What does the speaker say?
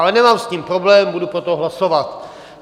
Ale nemám s tím problém, budu pro to hlasovat.